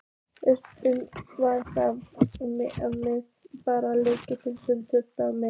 Eflaust var það bara lyktin sem truflaði mig.